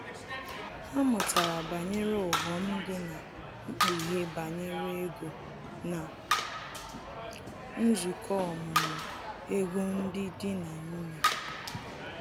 Ha mụtara banyere ughọm dị na mkpughe banyere ego na nzukọ ọmụmụ ego ndị dị na nwunye